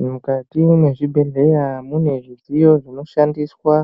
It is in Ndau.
Mukati mezvibhedhlera munezvidziyo zvinoshandiswa.